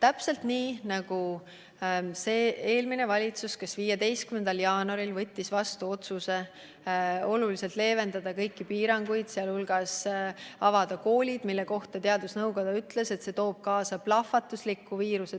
Seda pidi arvestama ka eelmine valitsus, kes 15. jaanuaril võttis vastu otsuse oluliselt leevendada kõiki piiranguid, sealhulgas avada koolid, mille kohta teadusnõukoda ütles, et see toob kaasa viiruse plahvatusliku leviku.